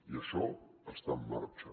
i això està en marxa